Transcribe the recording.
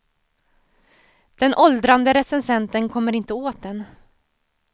Den åldrande recensenten kommer inte åt den.